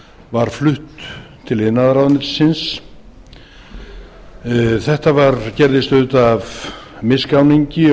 var flutt til iðnaðarráðuneytisins þetta gerðist auðvitað af misgáningi og ég